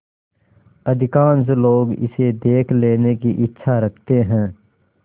अधिकांश लोग इसे देख लेने की इच्छा रखते हैं